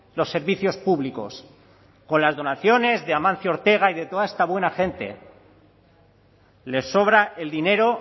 los servicios públicos con las donaciones de amancio ortega y de toda esta buena gente les sobra el dinero